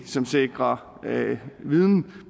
som sikrer viden